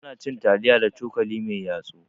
Ana cin taliya da cokali mai yatsu.